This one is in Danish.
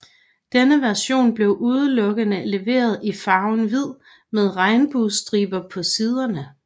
Denne version blev udelukkende leveret i farven hvid med regnbuestriber på siderne